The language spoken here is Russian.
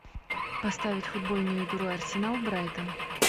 поставить футбольную игру арсенал брайтон